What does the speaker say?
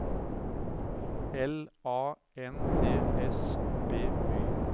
L A N D S B Y